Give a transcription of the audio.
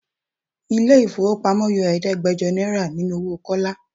Ilé ifowopamo yọ Ẹ̀ẹ́dẹ́gbẹjọ náírà nínú owó Kọ́lá.